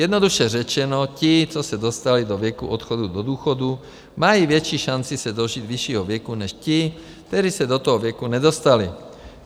Jednoduše řečeno, ti, co se dostali do věku odchodu do důchodu, mají větší šanci se dožít vyššího věku než ti, kteří se do toho věku nedostali.